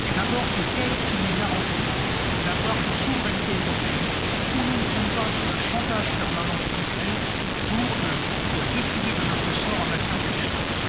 D'abord, ce sont elles qui nous garantissent d'avoir une souveraineté européenne où nous ne sommes pas sous le chantage permanent du Conseil pour décider de notre sort en matière budgétaire.